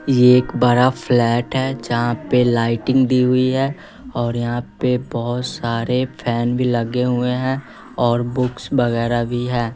ये एक बड़ा फ्लैट है जहां पे लाइटिंग दी हुई है और यहां पे बहोत सारे फैन भी लगे हुए है और बुक्स वगैरा भी है।